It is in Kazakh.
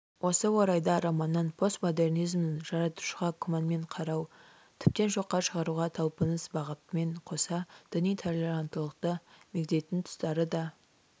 осы орайда романнан постмодернизмнің жаратушыға күмәнмен қарау тіптен жоққа шығаруға талпыныс бағытымен қоса діни толеранттылықты мегзейтін тұстары да